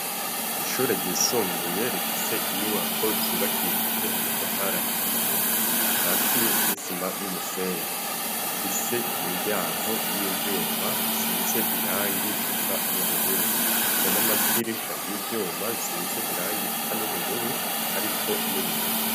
Ishure ryisumbuye rifise inyubako zubakishije amatafara hiye, akatiye n'isima n'umusenyi. rifise imiryanko y'ivyuma risize irangi risa n'ubururu rifise n'amadirisha y'ivyuma risize irangi risa n'ubururu ariko n'ibiyo.